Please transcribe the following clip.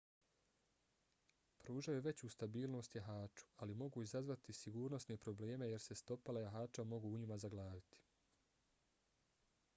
pružaju veću stabilnost jahaču ali mogu izazvati sigurnosne probleme jer se stopala jahača mogu u njima zaglaviti